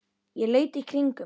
Ég leit í kringum mig.